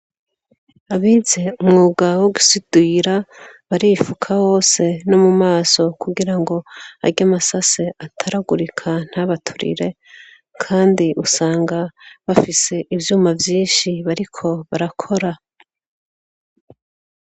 Abize umwuga wogusudira barifuka hose nomumaso kugirango Arya masase ataragurika ntabaturire kandi usanga bafise ivyuma vyinshi bariko barakora.